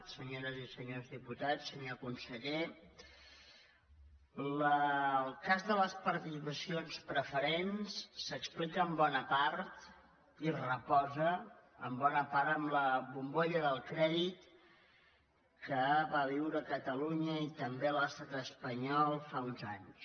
senyores i senyors diputats senyor conseller el cas de les participaci·ons preferents s’explica en bona part i reposa en bona part en la bombolla del crèdit que van viure catalu·nya i també l’estat espanyol fa uns anys